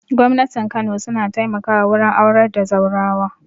Gwamnatin kano su na taimaka wa wurin aurar da zaurawa